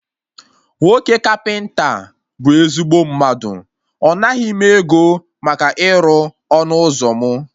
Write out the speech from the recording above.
Nwoke kapịnta a bụ ezigbo mmadụ, ọ naghị m ego maka ịrụ ọnụ ụzọ mụ